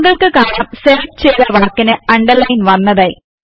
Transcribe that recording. താങ്കൾക്ക് കാണാം സെലക്ട് ചെയ്ത വാക്കിന് അണ്ടർലയിൻ വന്നതായി